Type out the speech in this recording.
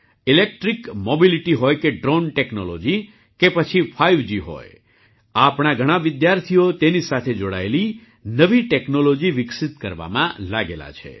electric mobility હોય કે drone technology કે પછી ફાઇવજી હોય આપણા ઘણા વિદ્યાર્થીઓ તેની સાથે જોડાયેલી નવી ટૅક્નૉલૉજી વિકસિત કરવામાં લાગેલા છે